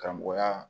Karamɔgɔya